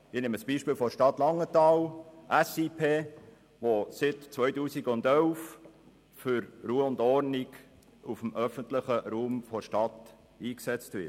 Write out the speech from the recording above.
Ich nehme das Beispiel der Stadt Langenthal, wo seit den Jahr 2011 Sicherheit-Intervention-Prävention (SIP) für Ruhe und Ordnung im öffentlichen Raum der Stadt eingesetzt wird.